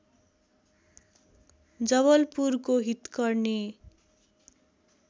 जवलपुरको हितकर्नी